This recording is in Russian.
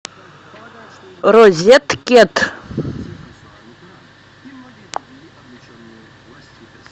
розеткед